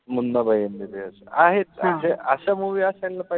MBBS. आहेत अशे अशा movie असायला पाहिजे.